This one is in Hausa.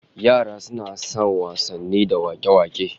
Yara suna son wasanni da wak'e-wak'e